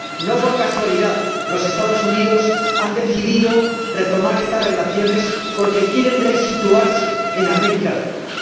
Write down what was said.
No por casualidad los Estados Unidos han decidido retomar estas relaciones, porque quieren resituarse en América Latina.